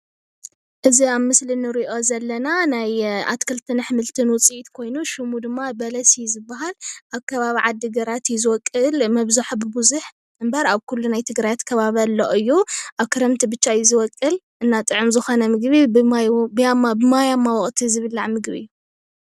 እዚ አብ ምስሊ እንሪኦ ዘለና ናይ ኣትክልትን ኣሕምልትን ውፅኢት ኮይኑ ሽሙ ድማ በለስ እዩ ዝበሃል። አብ ከባቢ ዓድግራት እዩ ዝበቁል መብዛሕትኡ ወይ ብቡዙሕ እምበር ኣብ ኩሉ ከባብታት ትግራይ አሎ እዩ። ክረምቲ ብቻ እዩ ዝበቁል እና ጥዑም ዝኮነ ምግቢ ብማያ ብማያማ ወቅቲ ዝብላዕ ምግቢ እዩ።